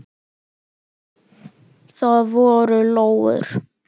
Það voru lóur.